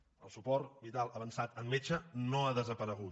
el suport vital avançat amb metge no ha desaparegut